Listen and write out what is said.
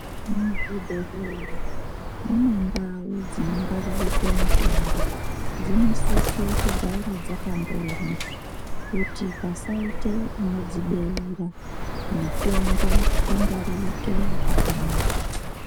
Muzvibhedhleya, mune ndau dzinongwaririrwe mitombo. Dzinosise kugara dzakambonywa, kuti pasaite unodzibeura, mitombo ingwaririke zvakanaka.